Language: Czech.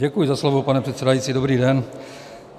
Děkuji za slovo, pane předsedající, dobrý den.